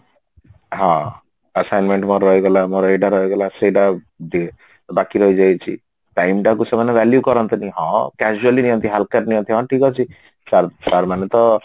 ହଁ assignment ମୋର ରହିଗଲା ମୋର ଏଇଟା ରହିଗଲା ସେଇଟା ବେ ବାକି ରହିଯାଇଛି time ଟାକୁ ସେମାନେ value କରନ୍ତିନି ହଁ casually ନିଅନ୍ତି ହାଲକାରେ ନିଅନ୍ତି ହଁ ଠିକ ଅଛି sir sir ମାନେ ତ